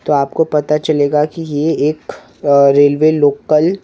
तो आपको पता चलेगा कि ये एक रेलवे लोकल --